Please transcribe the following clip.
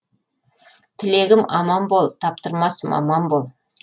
тілегім аман бол таптырмас маман бол